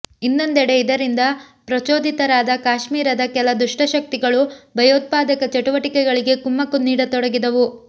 ಇನ್ನೊಂದೆಡೆ ಇದರಿಂದ ಪ್ರಚೋದಿತರಾದ ಕಾಶ್ಮೀರದ ಕೆಲ ದುಷ್ಟಶಕ್ತಿಗಳು ಭಯೋತ್ಪಾದಕ ಚಟುವಟಿಕೆಗಳಿಗೆ ಕುಮ್ಮಕ್ಕು ನೀಡತೊಡಗಿದವು